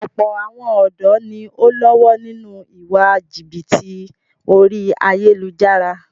Ọ̀pọ̀ àwọn ọ̀dọ́ ni o ń lọ́wọ́ nínú ìwà jìbìtì orí ayélujára.